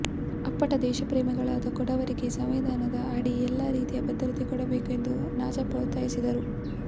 ಅಪ್ಪಟ ದೇಶ ಪ್ರೇಮಿಗಳಾದ ಕೊಡವರಿಗೆ ಸಂವಿಧಾನದ ಅಡಿ ಎಲ್ಲಾ ರೀತಿಯ ಭದ್ರತೆ ಕೊಡಬೇಕು ಎಂದು ನಾಚಪ್ಪ ಒತ್ತಾಯಿಸಿದರು